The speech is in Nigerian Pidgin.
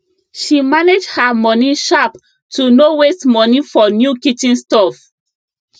she manage her moni sharp to no waste money for new kitchen stuff